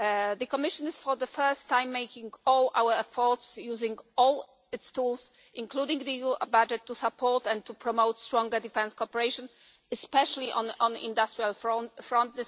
us. The Commission is for the first time making all its efforts, using all its tools including the EU budget to support and promote stronger defence cooperation, especially on the industrial front.